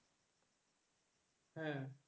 হ্যাঁ,